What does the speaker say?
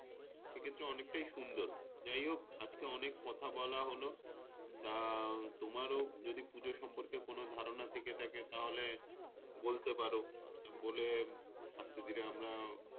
সে ক্ষেত্রে অনেকটাই সুন্দর যাইহোক, আজকে অনেক কথা বলা হলো। তা তোমার ও যদি পূজা সম্পর্কে কোন ধারণা থেকে থাকে তাহলে, বলতে পারো বলে আজকের দিনে আমরা,